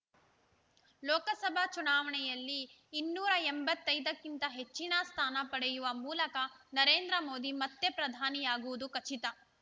ಲೋಕಸಭಾ ಚುನಾವಣೆಯಲ್ಲಿ ಇನ್ನೂರ ಎಂಬತ್ತೈದ ಕ್ಕಿಂತ ಹೆಚ್ಚಿನ ಸ್ಥಾನ ಪಡೆಯುವ ಮೂಲಕ ನರೇಂದ್ರ ಮೋದಿ ಮತ್ತೆ ಪ್ರಧಾನಿಯಾಗುವುದು ಖಚಿತ